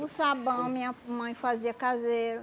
O sabão, minha mãe fazia caseiro.